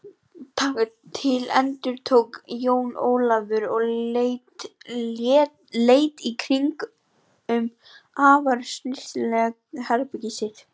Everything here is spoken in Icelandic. Taka til endurtók Jón Ólafur og leit í kringum afar snyrtilegt herbergið sitt.